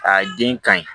A den ka ɲi